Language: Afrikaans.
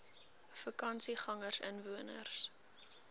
vakansiegangersinwoners